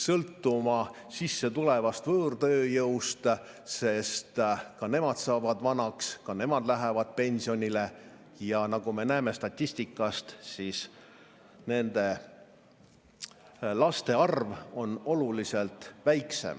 sõltuma sissetulevast võõrtööjõust, sest ka nemad saavad vanaks, ka nemad lähevad pensionile ja nagu me näeme statistikast, siis nende laste arv on oluliselt väiksem.